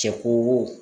Cɛ ko